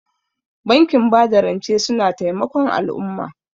Bankin bada rance suna taimakon al'umma.